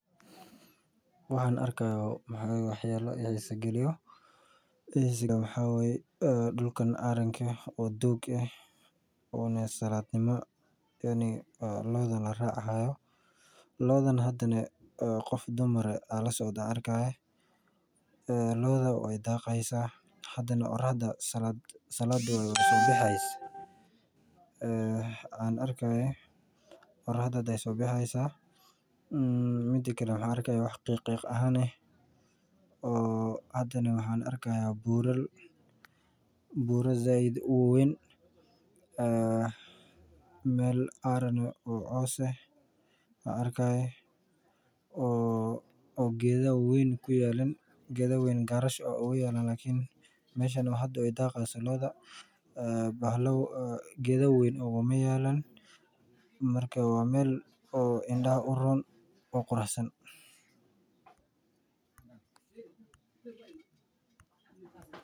Waxaan arki haaya wax yaabo i xiisa galiyo dulkan aranka ah oo loodan laraaci haayo waay daaqi haysa oraxda hada ayeey soo bixi haysa waxaan arki haaya wax qiiq ahaane waxaan arki haaya bural waxaan arki haaya meel coos ah geeda weyn maku yaalan waa meel indaha uroon.